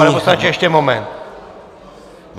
Pane poslanče ještě moment.